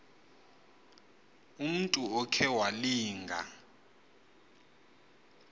umntu okhe walinga